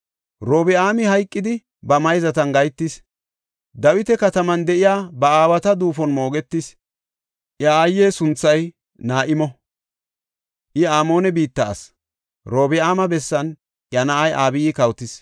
Robi7aami hayqidi ba mayzatan gahetis; Dawita Kataman de7iya ba aawata duufon moogetis. Iya aaye sunthay Na7imo; iya Amoone biitta asi; Orobi7aama bessan iya na7ay Abiyi kawotis.